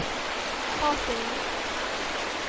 Hakenäset